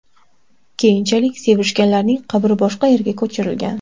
Keyinchalik sevishganlarning qabri boshqa yerga ko‘chirilgan.